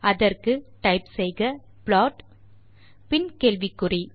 அதற்கு முனையத்தில் டைப் செய்க ப்ளாட் பின் கேள்விக்குறி